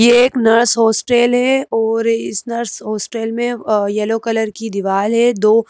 ये एक nurse hostel है और इस नर्स हॉस्टल में अह येलो कलर की दीवाल है दो --